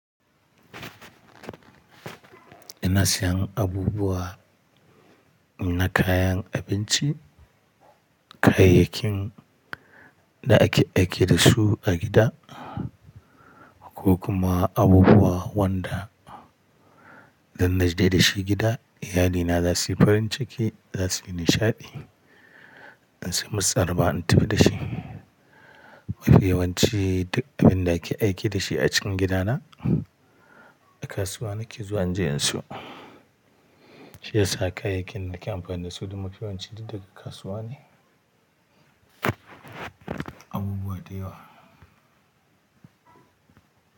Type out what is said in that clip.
Ina sayan abubuwa na kayan abinci, kayayyakin da ake aiki da su a gida ko kuma abubuwa wanda dan naje da shi gida, iyalina za su yi farin ciki za su yi nishaɗi. In samu tsara ba in tafi da shi. Mafiwanci duk abin da ake aiki da shi a cikin gidana a kasuwa nake zuwa inje in siyo. Shi yasa kayayyakin da ke amfani da su duk mafiwanci duk daga kasuwa ne. Abubuwa da yawa.